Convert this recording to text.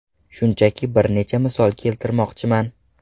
Shunchaki bir necha misol keltirmoqchiman.